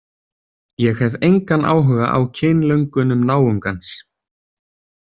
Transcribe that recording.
Ég hef engan áhuga á kynlöngunum náungans.